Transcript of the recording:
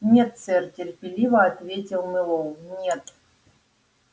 нет сэр терпеливо ответил мэллоу нет